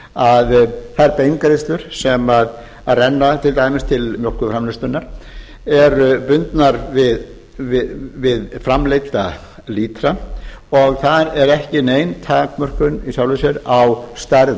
að þær beingreiðslur sem renna til dæmis til mjólkurframleiðslunnar eru bundnar við framleidda lítra og þar er ekki nein takmörkun í sjálfu sér á stærð